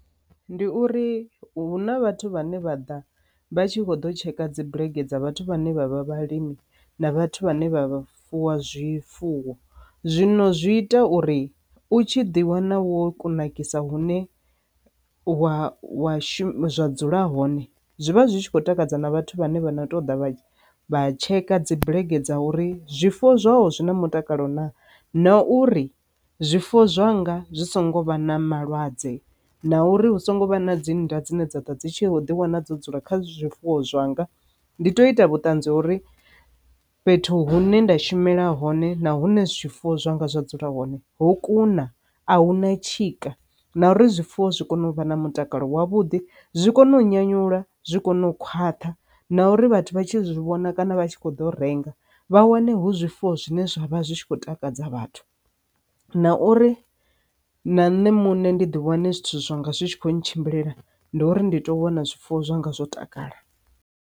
Ndi uri huna vhathu vhane vha ḓa vha tshi kho ḓo tsheka dzibulege dza vhathu vhane vha vha vhalimi na vhathu vhane vha vha fuwa zwifuwo zwino zwi ita uri u tshi ḓi wana wo kunakisa hune wa wa shuma zwa dzula hone zwi vha zwi tshi khou takadza na vhathu vhane vha ṱoḓa vha tsheka dzi bulege dza uri zwifuwo zwawe zwi na mutakalo na. Na uri zwifuwo zwanga zwi songo vha na malwadze na uri hu songo vha na dzi nda dzine dza ḓo dzi tshi kho ḓi wana dzo dzula kha zwifuwo zwanga. Ndi to ita vhuṱanzi uri fhethu hune nda shumela hone na hune zwifuwo zwanga zwa dzula hone ho kuna a hu na tshika, na uri zwifuwo zwi kone u vha na mutakalo wavhuḓi zwi kone u nyanyula zwi kone u khwaṱha na uri vhathu vha tshi zwi vhona kana vha tshi kho ḓo renga vha wane hu zwifuwo zwine zwa vha zwi tshi khou takadza vhathu, na uri na nṋe muṋe ndi ḓi wane zwithu zwa nga zwi tshi kho tshimbila ndi uri ndito wana zwifuwo zwanga zwo takala.